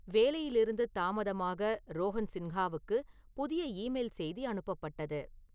வேலையிலிருந்து தாமதமாக ரோகன் சின்ஹாவுக்கு புதிய ஈமெயில் செய்தி அனுப்பப்பட்டது